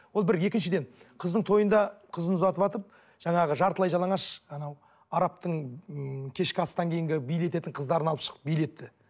ол бір екіншіден қыздың тойында қызын ұзатыватып жаңағы жартылай жалаңаш анау арабтың ыыы кешкі астан кейінгі билететін қыздарын алып шығып билетті